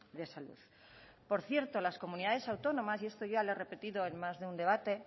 de salud por cierto las comunidades autónomas y esto ya lo he repetido en más de un debate